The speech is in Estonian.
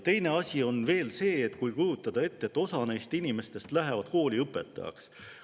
Teine asi on see, kui kujutada ette, et osa neist inimestest lähevad kooli õpetajaks.